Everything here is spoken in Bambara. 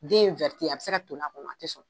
Den a bɛ se ka toli a kɔnɔ a tɛ sɔn.